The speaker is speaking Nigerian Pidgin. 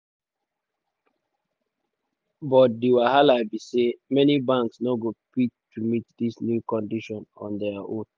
but di wahala be say many banks no go fit to meet dis new condition on dia own.